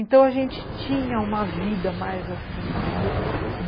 Então a gente tinha uma vida mais assim, entendeu? Aham.